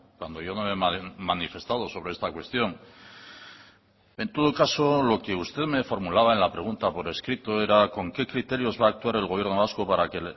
cuando yo no me he manifestado sobre esta cuestión en todo caso lo que usted me formulaba en la pregunta por escrito era con qué criterios va a actuar el gobierno vasco para que